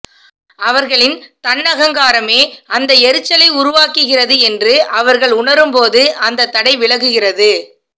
அவர்களின் தன்னகங்காரமே அந்த எரிச்சலை உருவாக்குகிறது என்று அவர்கள் உணரும்போது அந்த தடை விலகுகிறது